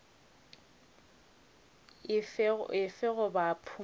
efe goba efe goba phumolo